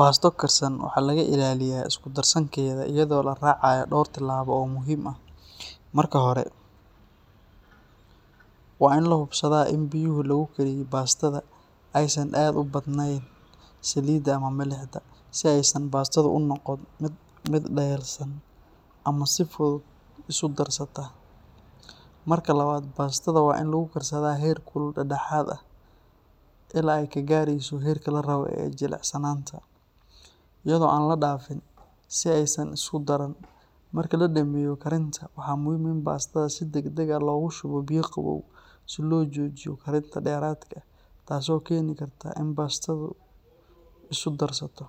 Basto karsan waxaa laga ilaaliyaa isku darsankeeda iyadoo la raacayo dhowr tillaabo oo muhiim ah. Marka hore, waa in la hubsadaa in biyaha lagu kariyay bastada aysan aad u badanayn saliidda ama milixda, si aysan bastadu u noqon mid dhayalsan ama si fudud isu darsata. Marka labaad, bastada waa in lagu karsadaa heer kul dhexdhexaad ah ilaa ay ka gaarayso heerka la rabo ee jilicsanaanta, iyadoo aan la dhaafin si aysan isu darsan. Marka la dhammeeyo karinta, waa muhiim in bastada si degdeg ah loogu shubo biyo qabow si loo joojiyo karinta dheeraadka ah taasoo keeni karta in bastadu isu darsato.